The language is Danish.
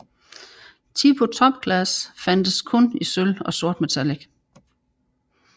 Tipo TopClass fandtes kun i sølv og sortmetallic